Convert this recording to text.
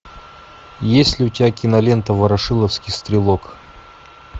есть ли у тебя кинолента ворошиловский стрелок